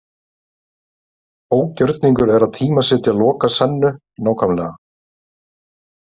Ógjörningur er að tímasetja Lokasennu nákvæmlega.